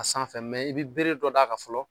A sanfɛ i bi bere dɔ d'a kan fɔlɔ